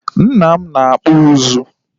Nna m na-akpụ ụzụ